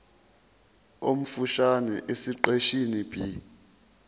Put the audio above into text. omfushane esiqeshini b